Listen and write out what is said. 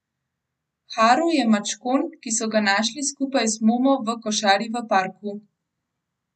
Haru je mačkon, ki so ga našli skupaj z Momo v košari v parku.